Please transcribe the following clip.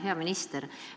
Hea minister!